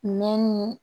Mɛ ni